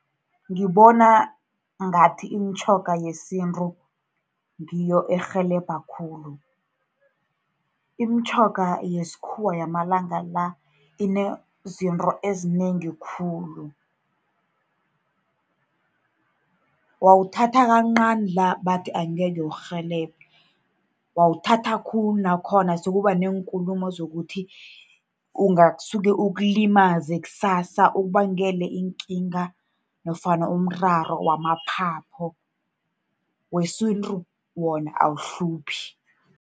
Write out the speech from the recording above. Ngibona ngathi imitjhoga yesintu ngiyo erhelebha khulu. Imitjhoga yesikhuwa yamalanga la, inezinto ezinengi khulu. Wawuthatha kancani la bathi angeke ukurhelebhe, wawuthatha khulu nakhona sekuba neenkulumo zokuthi ungasuke ukulimaze, kusasa ukubangele iinkinga nofana umraro yamaphaphu. Wesintu wona awuhluphi.